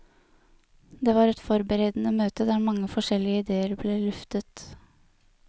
Det var et forberedende møte der mange forskjellige idéer ble luftet.